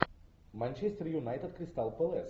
манчестер юнайтед кристал пэлас